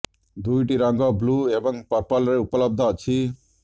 ଦୁଇିଟିିି ରଙ୍ଗ ବ୍ଲୁ ଏବଂ ପର୍ପଲ ରେ ଉପଲବ୍ଧ ଅଛି